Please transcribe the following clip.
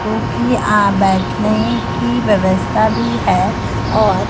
cookie आ बैठने की व्यवस्था भी है और--